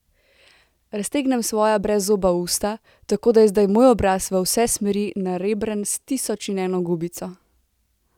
Raztegnem svoja brezzoba usta, tako da je zdaj moj obraz v vse smeri narebren s tisoč in eno gubico.